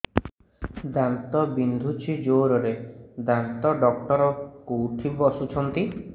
ଦାନ୍ତ ବିନ୍ଧୁଛି ଜୋରରେ ଦାନ୍ତ ଡକ୍ଟର କୋଉଠି ବସୁଛନ୍ତି